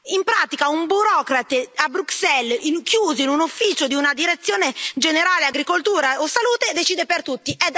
In pratica, un burocrate a Bruxelles, chiuso in un ufficio di una Direzione generale Agricoltura o Salute decide per tutti.